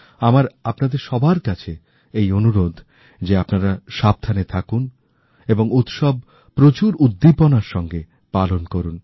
আমার আপনাদের সবার কাছে এই অনুরোধ যে আপনারা সাবধানে থাকুন এবং উৎসব প্রচুর উদ্দীপনার সঙ্গে পালন করুন